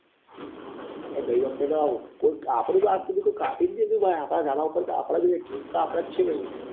તે ગઈ વખતે તો કોક આપડું તો આજ સુધી કોઈ કાપ્યું જ નહિ આપડા ધાબા પર આપડે જ હોઈએ king તો આપડે જ છીએ ભાઈ